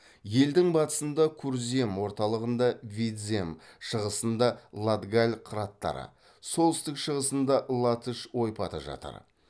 елдің батысында курзем орталығында видзем шығысында латгаль қыраттары солтүстік шығысында латыш ойпаты жатыр